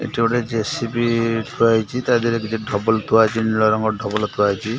ଏଠି ଗୋଟେ ଜେସିବି ଥୁଆ ହେଇଚି ତା ଧିଏରେ ଦିଟା ଠବଲ ଥୁଆ ହେଇଚି ନୀଳ ରଙ୍ଗର ଠବଲ ଥୁଆ ହେଇଚି।